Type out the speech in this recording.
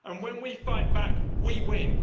And when we fight back, we win.